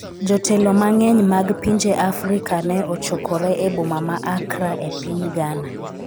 jotelo mang'eny mag pinje Afrika ne ochokore e boma ma Accra e piny Ghana